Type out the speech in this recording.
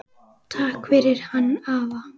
Takk fyrir hann afa.